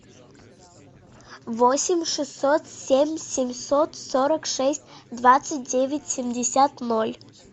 восемь шестьсот семь семьсот сорок шесть двадцать девять семьдесят ноль